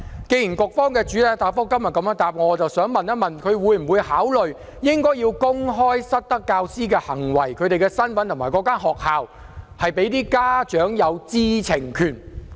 基於局方的主體答覆，我想問局長會否考慮公開失德教師的行為、身份及所屬學校，讓家長有知情權？